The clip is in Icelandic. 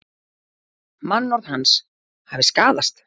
Mannorð hans hafi skaðast